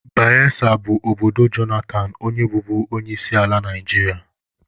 Bayesa bụ obodo Jonathan onye bụbu onyeisiala Naijiria.